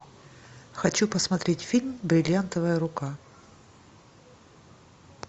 хочу посмотреть фильм бриллиантовая рука